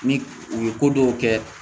Ni u ye ko dɔw kɛ